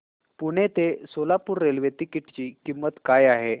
पुणे ते Solapur railway ticket ची किंमत काय आहे